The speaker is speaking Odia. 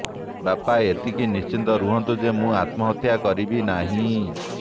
ବାପା ଏତିକି ନିଶ୍ଚିନ୍ତ ରହନ୍ତୁ ଯେ ମୁଁ ଆତ୍ମହତ୍ୟା କରିବି ନାହିଁ